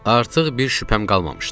Artıq bir şübhəm qalmamışdı.